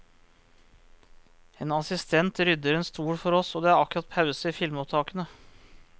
En assistent rydder en stol for oss, det er akkurat pause i filmopptakene.